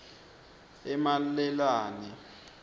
emalelane